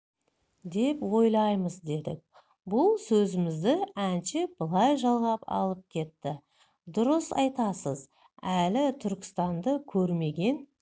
деп ойлаймыз дедік бұл сөзімізді әнші былай жалғап алып кетті дұрыс айтасыз әлі түркістанды көрмеген